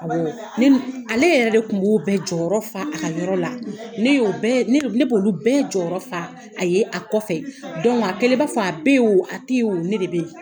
Awɔɔ; Ne Ale yɛrɛ de kun b'o bɛɛ jɔyɔrɔ fa a ka yɔrɔ la, ne yo bɛɛ, ne ne b'olu bɛɛ jɔyɔrɔ fa a ye a kɔfɛ, a kɛlen b'a fɔ a b' i wo a t'i wo ne de b'i.